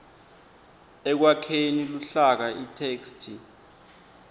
ekwakheni luhlaka itheksthi